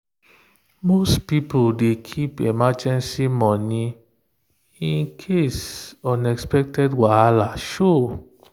most people dey keep emergency money in case unexpected wahala show.